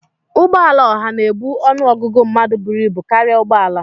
Ụgbọ ala oha na-ebu ọnụ ọgụgụ mmadụ buru ibu karịa ụgbọ ala